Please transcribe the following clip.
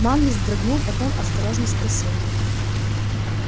манлис вздрогнул потом осторожно спросил